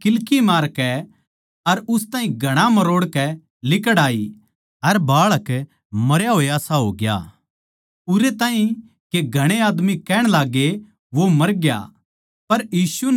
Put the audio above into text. फेर वा किल्की मारकै अर उस ताहीं घणा मरोड़कै लिकड़ आई अर बाळक मरया होयासा होग्या उरै ताहीं के घणे आदमी कहण लाग्गे के वो मरग्या